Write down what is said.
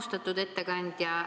Austatud ettekandja!